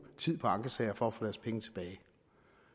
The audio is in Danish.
tid på ankesager for at få deres penge tilbage